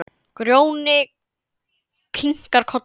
Grjóni kinkar kolli.